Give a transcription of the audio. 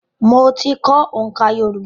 Mo ti kọ́ oǹká Yorùbá.